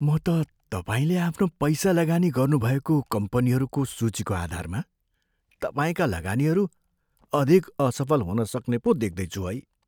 म त तपाईँले आफ्नो पैसा लगानी गर्नुभएको कम्पनीहरूको सूचीको आधारमा तपाईँका लगानीहरू अधिक असफल हुनसक्ने पो देख्दैछु है।